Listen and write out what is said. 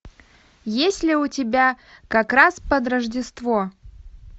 есть ли у тебя как раз под рождество